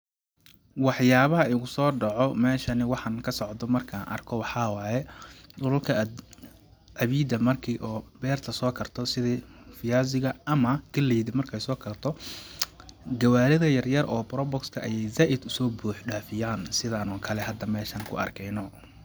Wax yaabaha igusoo dhaco ,meeshani waxan ka socdo markaan arko ,waxaa waaye dhulka cawiida marki oo beerta soo karto sidi viazi ga ama galleyda marki ay soo karto ,gawaarida yar yar oo probox ka ayeey zaaid usoo buux dhafiyaan sidaan oo kale aan hada meeshaan ku arkeyno.